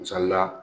Misali la